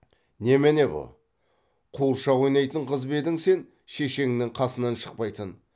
немене бұ қуыршақ ойнайтын қыз ба едің сен шешеңнің қасынан шықпайтын